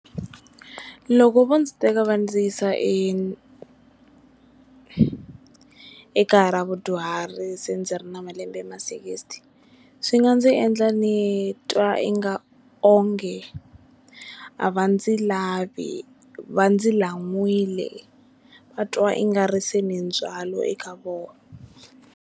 Loko vo ndzi teka va ndzi yisa e ekaya ra vudyuhari se ndzi ri na malembe ma sixty swi nga ndzi endla nitwa i nga onge a va ndzi lavi va ndzi lan'wile va twa ingaku se ni ndzwalo eka vona.